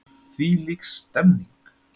Þvílík stemmning!